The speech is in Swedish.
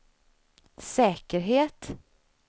säkerhet